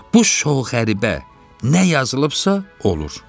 Bu şox qəribə nə yazılıbsa olur.